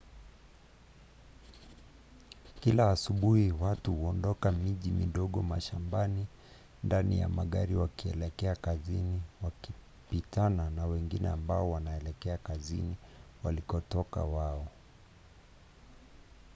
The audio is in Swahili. kila asubuhi watu huondoka miji midogo mashambani ndani ya magari wakielekea kazini wakipitana na wengine ambao wanaelekea kazini walikotoka wao